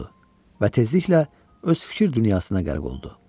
və tezliklə öz fikir dünyasına qərq oldu.